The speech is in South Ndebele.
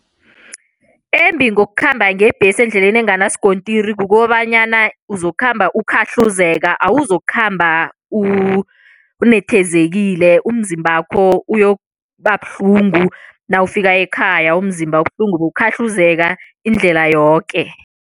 Embi ngokukhamba ngebhesi endleleni enganasikontiri kukobanyana uzokukhamba ukhahluzeka. Awuzokukhamba unethezekile, umzimbakho uyokuba buhlungu, nawufika ekhaya umzimba ubuhlungu kukhahluzeka indlela yoke.